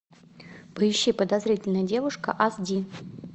поищи подозрительная девушка аш ди